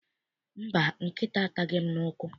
Mba, nkịta ataghị m n'ụkwụ.